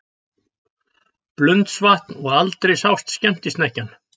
Blundsvatn og aldrei sást skemmtisnekkjan.